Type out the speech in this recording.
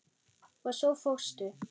Og svo fórstu.